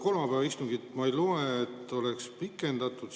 Kolmapäevase istungi kohta ma siit ei loe, et oleks pikendatud.